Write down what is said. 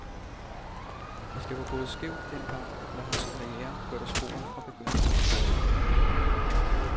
Hvis det var gået skævt den gang, var hans karriere kørt af sporet fra begyndelsen.